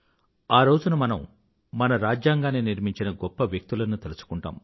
ఆ రోజున మనం మన రాజ్యాంగాన్ని నిర్మించిన గొప్ప వ్యక్తులను తలచుకుంటాం